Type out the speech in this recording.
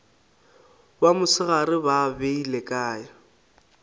ba mosegare ba beile kae